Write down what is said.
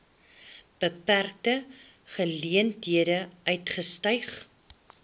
beperkte geleenthede uitgestyg